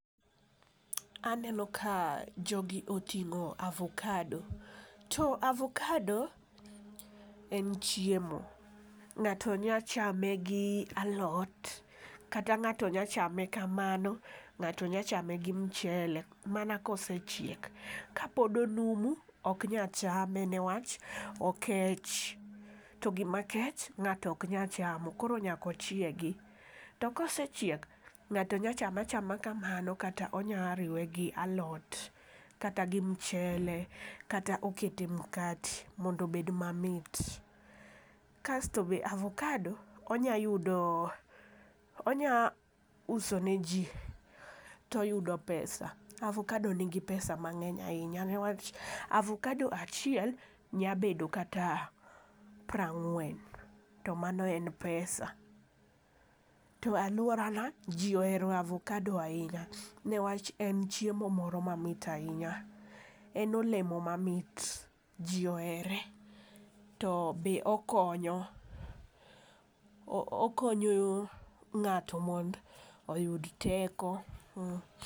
Aneno ka jogi oting'o avokado to avokado en chiemo . Ng'ato nya chame gi alot kata ng'ato nya chame kamano ng'ato nya chame gi mchele mana kosechiek, kapod onumu ok nya chame newach okech . To gima kech ng'ato ok nya chamo koro nyako chiegi. To kosechiek ng'ato nya chame achama kamano kata onya riwe gi alot kata gi mchele kata okete mkate mondo obed mamit. Kasto be avokado onya yudo onya uso ne jii to yudo pesa .Avokado nigi pesa mang'eny ahinya newach avokado achiel nya bedo kata pra ng'wen to amno en pesa .To aluoarana jii oero avokado ahinya newach en chiemo moro mamit ahinya en olemo mamit jii ohere to be okonyo o okonyo ng'ato mond oyud teko .